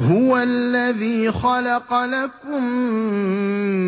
هُوَ الَّذِي خَلَقَ لَكُم